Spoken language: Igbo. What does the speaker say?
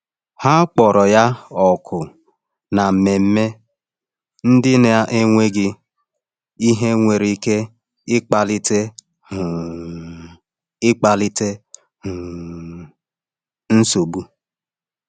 Ha kpọrọ ya òkù na mmemme ndị na-enweghị ihe nwere ike ịkpalite um ike ịkpalite um nsogbu.